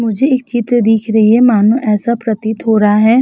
मुझे एक चित्र दिख रही है। मानो ऐसा प्रतीत हो रहा है --